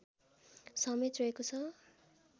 समेत रहेको छ